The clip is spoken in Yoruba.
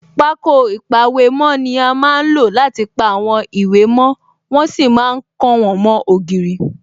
Pákó ìpàwèmó ni a má ń lò láti pa àwọn ìwé mo, wọ́n sì ma ń kàn wọ́n mó ògiri